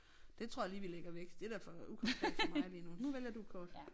Det tror jeg lige vi lægger væk det er da for ukonkret for mig lige nu nu vælger du et kort